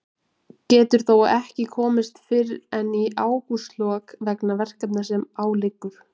Getur þó ekki komist fyrr en í ágústlok vegna verkefna sem á liggur.